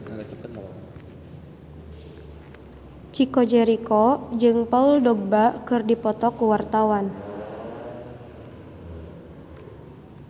Chico Jericho jeung Paul Dogba keur dipoto ku wartawan